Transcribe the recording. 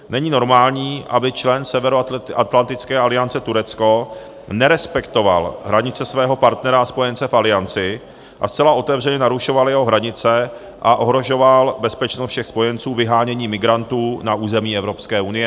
Není normální, aby člen Severoatlantické aliance Turecko nerespektoval hranice svého partnera a spojence v Alianci a zcela otevřeně narušoval jeho hranice a ohrožoval bezpečnost všech spojenců vyháněním migrantů na území Evropské unie.